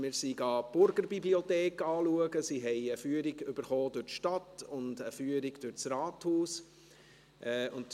Wir haben die Burgerbibliothek besichtigt, und sie haben eine Führung durch die Stadt sowie eine Führung durchs Rathaus erhalten.